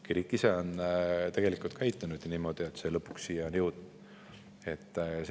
Kirik ise on tegelikult käitunud niimoodi, et lõpuks on selline siia jõudnud.